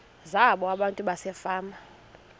zabo abantu basefama